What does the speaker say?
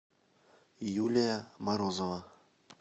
юлия морозова